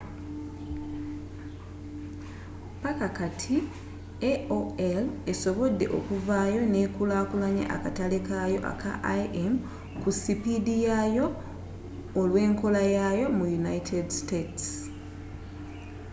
paka kati, aol esobodde okuvaayo nekulakulanya akatale kayo aka im ku sipiidi yayo olw’enkolayaayo mu united states